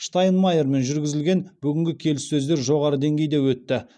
штайнмайермен жүргізілген бүгінгі келіссөздер жоғары деңгейде өтті